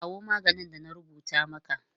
Kawo maganin da na rubuta maka!